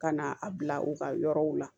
Ka na a bila u ka yɔrɔw la